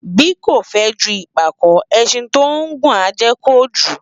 Bí kò fę ju ìpàkó, ęşin tí ó ngùn á ję kojū